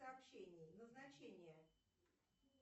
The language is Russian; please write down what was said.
сообщение назначение